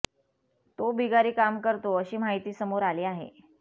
तो बिगारी काम करतो अशी माहिती समोर आली आहे